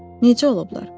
Necə olublar?